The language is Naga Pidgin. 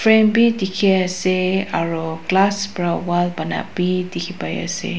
fan bhi dikhi ase aro glass para wall bana bhi dikhi pai ase.